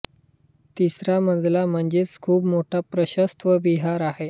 तिसरा मजला म्हणजे खूप मोठा प्रशस्त विहार आहे